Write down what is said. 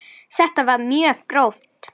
Þetta var mjög gróft.